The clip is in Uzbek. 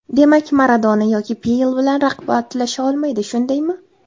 Demak, Maradona yoki Pele bilan raqobatlasha olmaydi, shundaymi?